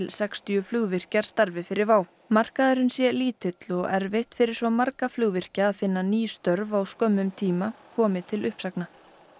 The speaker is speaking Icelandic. sextíu flugvirkjar starfi fyrir WOW markaðurinn sé lítill og erfitt fyrir svo marga flugvirkja að finna ný störf á skömmum tíma komi til uppsagna